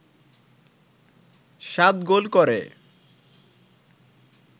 সাত গোল করে